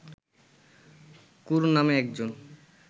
কুরু নামে একজন